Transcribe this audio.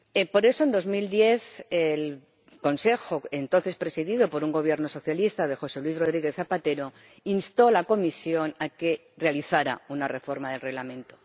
Por eso, en 2010, el Consejo, entonces presidido por el Gobierno socialista de José Luis Rodríguez Zapatero, instó a la Comisión a que realizara una reforma del Reglamento.